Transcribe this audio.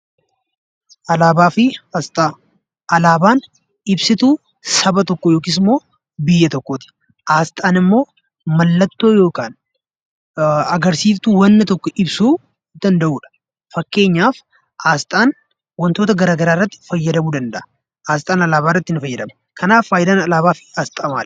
Alaabaan ibsituu saba tokkoo yookiis immoo biyya tokkooti. Asxaan immoo mallattoo yookaan agarsiiftuu wanna tokko ibsuu danda'udha. Fakkeenyaaf asxaan wantoota garaa garaa irratti fayyadamuu ni danda'a. Asxaan alaabaa irratti ni fayyadama. Kanaaf faayidaan alaabaa fi asxaa maali?